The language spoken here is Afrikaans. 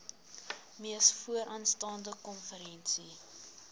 mees vooraanstaande konferensie